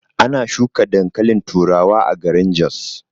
Ana shuka dankalin turawa a garin jos.